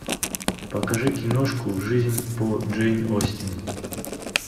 покажи киношку жизнь по джейн остин